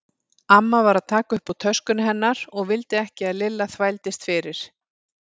Amma var að taka upp úr töskunni hennar og vildi ekki að Lilla þvældist fyrir.